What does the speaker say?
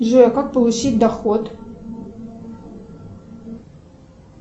джой а как получить доход